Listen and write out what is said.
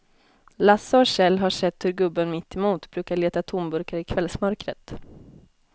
Lasse och Kjell har sett hur gubben mittemot brukar leta tomburkar i kvällsmörkret.